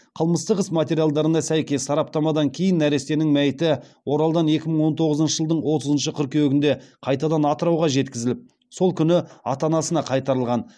қылмыстық іс материалдарына сәйкес сараптамадан кейін нәрестенің мәйіті оралдан екі мың он тоғызыншы жылдың отызыншы қыркүйегінде қайтадан атырауға жеткізіліп сол күні ата анасына қайтарылған